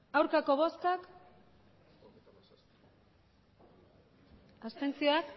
hirurogeita